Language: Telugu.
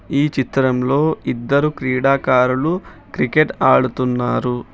ఈ చిత్రంలో ఇద్దరు క్రీడాకారులు క్రికెట్ ఆడుతున్నారు.